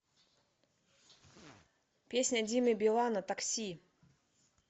песня димы билана такси